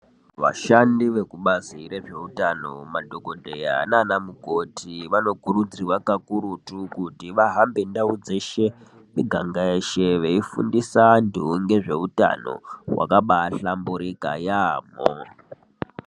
Vashandi vekubazi rezveutano madhokodheya naanamukoti vanokurudzirwa kakurutu kuti vahambe ndau dzeshe miganga yeshe veifundisa vantu ngezveutano wakabahlamburika yaamho.